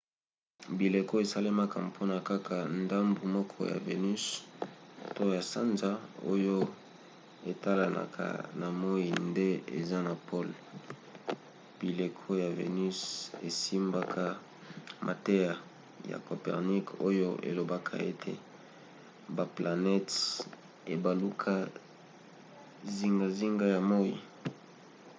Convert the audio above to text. bileko esalemaka mpona kaka ndambu moko ya vénus to ya sanza oyo etalanaka na moi nde eza na pole. bileko ya vénus esimbaka mateya ya copernic oyo elobaka ete baplanete ebalukaka zingazinga ya moi